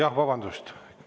Jah, vabandust!